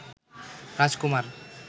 রাজকুমার